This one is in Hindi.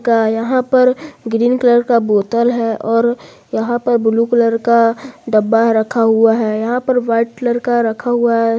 सा यहां पर ग्रीन कलर का बोतल है और यहां पर ब्लू कलर का डब्बा रखा हुआ है यहां पर व्हाइट कलर का रखा हुआ है।